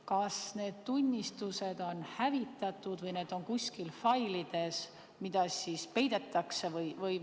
Kas need tunnistused on hävitatud või need on kuskil failides, mida peidetakse?